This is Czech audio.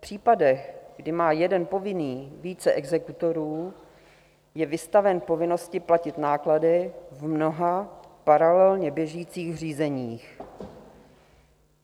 V případech, kdy má jeden povinný více exekutorů, je vystaven povinnosti platit náklady v mnoha paralelně běžících řízeních.